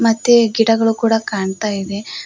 ಮತ್ತೆ ಗಿಡಗಳು ಕೂಡ ಕಾಣ್ತಾ ಇವೆ.